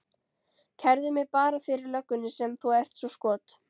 Kærðu mig bara fyrir löggunni sem þú ert svo skot